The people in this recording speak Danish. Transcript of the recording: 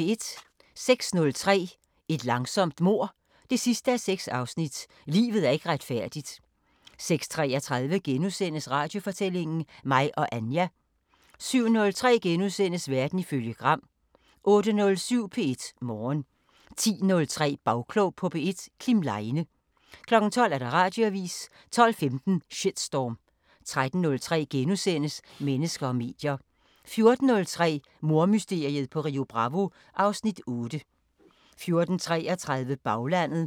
06:03: Et langsomt mord 6:6 – Livet er ikke retfærdigt 06:33: Radiofortællinger: Mig og Anja * 07:03: Verden ifølge Gram * 08:07: P1 Morgen 10:03: Bagklog på P1: Kim Leine 12:00: Radioavisen 12:15: Shitstorm 13:03: Mennesker og medier * 14:03: Mordmysteriet på Rio Bravo (Afs. 8) 14:33: Baglandet